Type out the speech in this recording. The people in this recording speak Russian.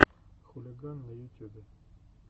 хулиган на ютюбе